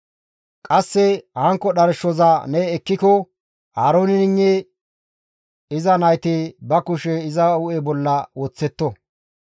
«Qasse hankko dharshoza ne ekkiko Aarooneynne iza nayti ba kushe iza hu7e bolla woththetto.